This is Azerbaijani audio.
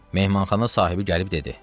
Mehmanxana sahibi gəlib dedi: